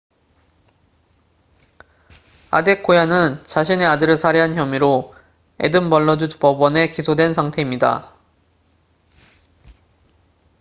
아데코야는 자신의 아들을 살해한 혐의로 에든버러주 법원에 기소된 상태입니다